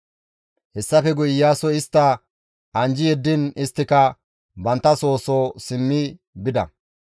Hessafe guye Iyaasoy istta anjji yeddiin isttika bantta soo soo simmi bida.